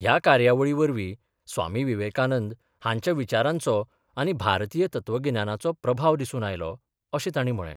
ह्या कार्यावळीवरवी स्वामी विवेकानंद हांच्या विचारांचो आनी भारतीय तत्वगिन्याचो प्रभाव दिसून आयलो अशें तांणी म्हळे.